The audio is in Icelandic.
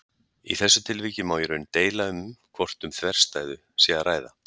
Í þessu tilviki má í raun deila um hvort um þverstæðu sé að ræða.